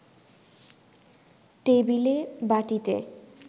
টেবিলে বাটিতে